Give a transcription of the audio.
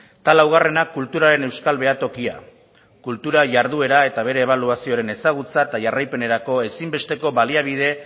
eta laugarrena kulturaren euskal behatokia kultura jarduera eta bere ebaluazioaren ezagutza eta jarraipenerako ezinbesteko baliabide